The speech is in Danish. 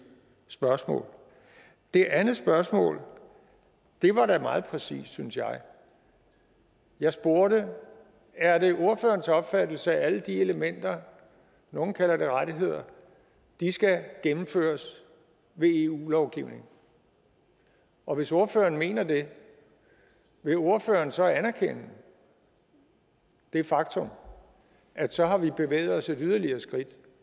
spørgsmål det andet spørgsmål var da meget præcist synes jeg jeg spurgte er det ordførerens opfattelse at alle de elementer nogle kalder det rettigheder skal gennemføres ved eu lovgivning og hvis ordføreren mener det vil ordføreren så anerkende det faktum at så har vi bevæget os yderligere et skridt